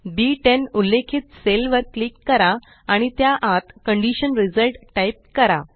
बी10 उल्लेखित सेल वर क्लिक करा आणि त्या आत कंडिशन रिझल्ट टाइप करा